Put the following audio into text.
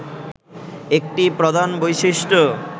একটি প্রধান বৈশিষ্ট্য